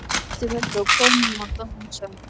Hættum þessu og komum að dansa.